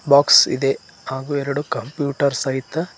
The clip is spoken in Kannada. ಬಾಕ್ಸ್ ಇದೆ ಹಾಗು ಎರಡು ಕಂಪ್ಯೂಟರ್ ಸಹಿತ--